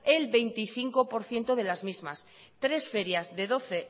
el veinticinco por ciento de las mismas tres ferias de doce